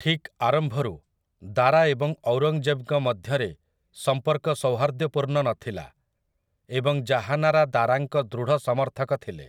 ଠିକ୍ ଆରମ୍ଭରୁ, ଦାରା ଏବଂ ଔରଙ୍ଗ୍‌ଜେବ୍‌ଙ୍କ ମଧ୍ୟରେ ସମ୍ପର୍କ ସୌହାର୍ଦ୍ଦ୍ୟପୂର୍ଣ୍ଣ ନଥିଲା, ଏବଂ ଜାହାନାରା ଦାରାଙ୍କ ଦୃଢ଼ ସମର୍ଥକ ଥିଲେ ।